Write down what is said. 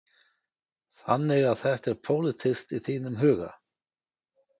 Þannig að þetta er pólitískt í þínum huga?